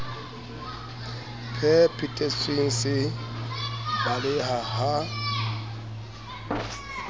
phe thetsweng se baleha ha